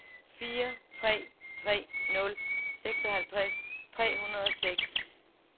fire tre tre nul seksoghalvtreds tre hundrede og seks